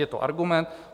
Je to argument.